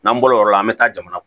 N'an bɔr'o la an bɛ taa jamana